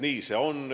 Nii see on.